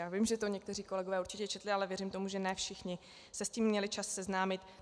Já vím, že to někteří kolegové určitě četli, ale věřím tomu, že ne všichni se s tím měli čas seznámit.